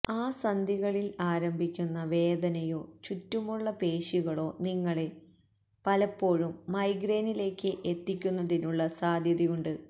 ആ സന്ധികളിൽ ആരംഭിക്കുന്ന വേദനയോ ചുറ്റുമുള്ള പേശികളോ നിങ്ങളെ പലപ്പോഴും മൈഗ്രേയ്നിലേക്ക് എത്തിക്കുന്നതിനുള്ള സാധ്യതയുണ്ട്